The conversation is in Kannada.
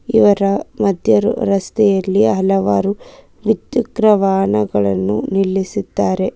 ಇವರ ಮಧ್ಯ ರಸ್ತೆಯಲ್ಲಿ ಹಲವಾರು ದ್ವಿಚಕ್ರ ವಾಹನಗಳನ್ನು ನಿಲ್ಲಿಸಿದ್ದಾರೆ.